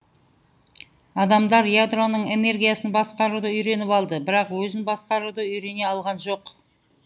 адамдар ядроның энергиясын басқаруды үйреніп алды бірақ өзін басқаруды үйрене алған жоқ